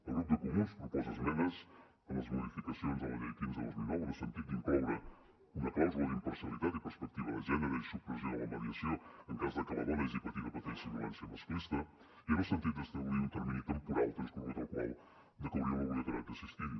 el grup de comuns proposa esmenes en les modificacions de la llei quinze dos mil nou en el sentit d’incloure una clàusula d’imparcialitat i perspectiva de gènere i supressió de la mediació en cas de que la dona hagi patit o pateixi violència masclista i en el sentit d’establir un termini temporal transcorregut el qual decauria l’obligatorietat d’assistir hi